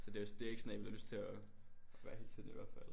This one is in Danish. Så det også det er ikke sådan en man har lyst til at gøre hele tiden i hvert fald